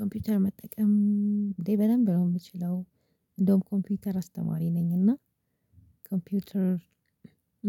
ኮምፒተር መጠቀም እንዴ በደንብ ነው ምችለው። እንደውም ኮምፒተር አስተማሪ ነኝ እና ኮምፒውተር